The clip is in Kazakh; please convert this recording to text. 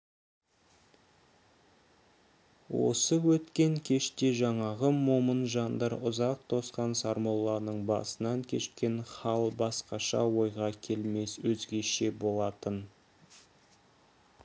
осы өткен кеште жаңағы момын жандар ұзақ тосқан сармолланың басынан кешкен хал басқаша ойға келмес өзгеше болатын